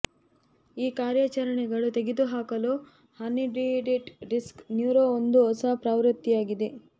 ಈ ಕಾರ್ಯಾಚರಣೆಗಳು ತೆಗೆದುಹಾಕಲು ಹರ್ನಿಯೇಟೆಡ್ ಡಿಸ್ಕ್ ನ್ಯೂರೋ ಒಂದು ಹೊಸ ಪ್ರವೃತ್ತಿಯಾಗಿದೆ